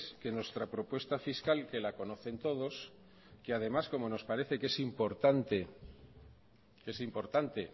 que nuestra propuesta fiscal que la conocen todos que además como nos parece que es importante